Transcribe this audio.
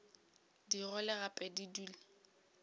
di gole gape di dule